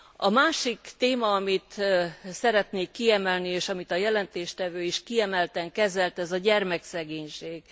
A másik téma, amit szeretnék kiemelni, és amit a jelentéstevő is kiemelten kezelt, ez a gyermekszegénység.